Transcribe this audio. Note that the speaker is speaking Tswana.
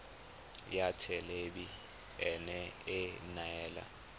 ya thelebi ene e neela